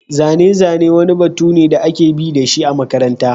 Zane-zane wani batu ne da ake bi da shi a makaranta.